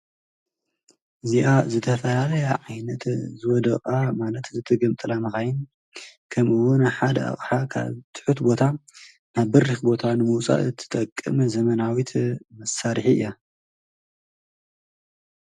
እዚኣ ዝተፈላለያ ዓይነታት ዝወደቃ ማለት ዝተገምጠላ መኻይን ከምኡ እውን ሓደ አቕሓ ካብ ትሑት ቦታ ናብ በሪኽ ቦታ ንምውፃእ ትጠቅም ዘመናዊት መሳርሒ እያ።